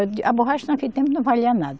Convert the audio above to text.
A borracha naquele tempo não valia nada.